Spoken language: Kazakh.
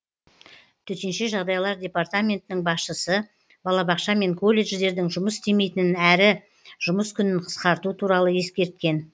төтенше жағдайлар департаментінің басшысы балабақша мен колледждердің жұмыс істемейтінін әрі жұмыс күнін қысқарту туралы ескерткен